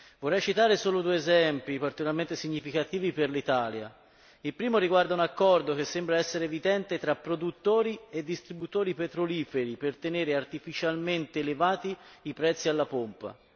Vorrei citare solo due esempi, particolarmente significativi per l'Italia il primo, riguarda un accordo che sembra essere evidente tra produttori e distributori petroliferi per tenere artificialmente elevati i prezzi alla pompa